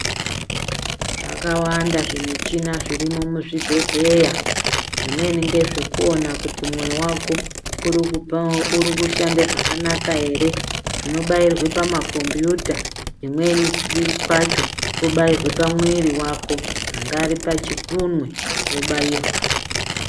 Zvakawanda zvi michina zviri mu zvibhedhlera zvimweni ngezve kuona kuti mwoyo waku uri kushanda zvakanaka ere zvinobairwa pa makombiyuta kumweni kwacho kobairwe pa mwiri wako pangari pa chikunwe wo bairwa.